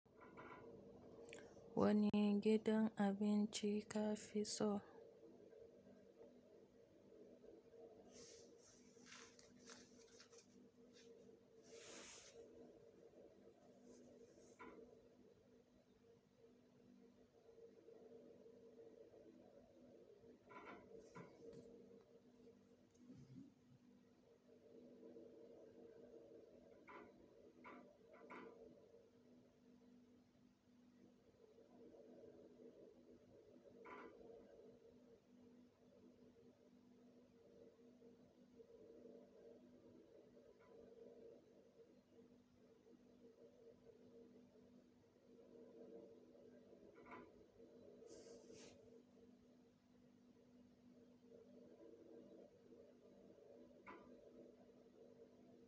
Wani gidan abinci ka fi so?